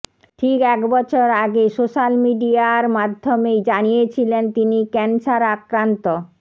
ঠিক এক বছর আগে সোশ্য়াল মিডিয়ার মাধ্য়মেই জানিয়েছিলেন তিনি ক্যানসার আক্রান্ত